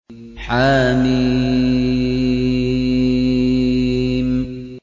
حم